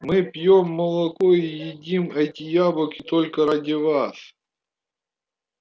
мы пьём молоко и едим эти яблоки только ради вас